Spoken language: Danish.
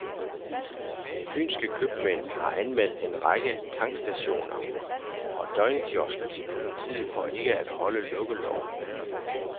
Fynske købmænd har anmeldt en række tankstationer og døgnkiosker til politiet for ikke at holde lukkeloven.